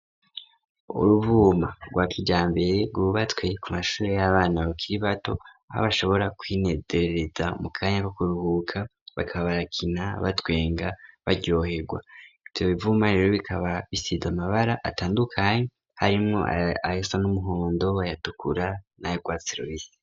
uruvuma rwakijambere rwubatswe ku mashuri y'abana bakiri bato aho bashobora kwinezereza mu kanya ko kuruhuka bakaba barakina batwenga baryohegwa ivyo bivuma rero bikaba bisize amabara atandukanye harimwo ayasa n'umuhondo nayatukura nagwatsi rubisisi